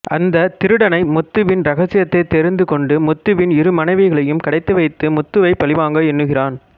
அந்த திருடனை முத்துவின் ரகசியத்தை தெரிந்து கொண்டு முத்துவின் இரு மனைவிகளையும் கடத்தி வைத்து முத்துவை பழிவாங்க எண்ணுகிறான்